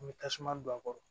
N bɛ tasuma don a kɔrɔ